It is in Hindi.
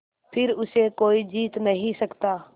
फिर उसे कोई जीत नहीं सकता